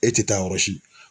E tɛ taa yɔrɔsi.